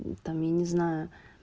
ну там я не знаю